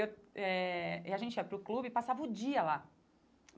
Eh e a gente ia para o clube e passava o dia lá.